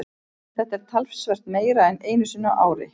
Þetta er talsvert meira en einu sinni á ári.